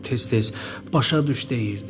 Tez-tez başa düş deyirdi.